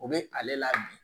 O be ale la bi